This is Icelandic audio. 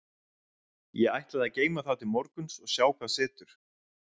Ég ætla að geyma það til morguns og sjá hvað setur.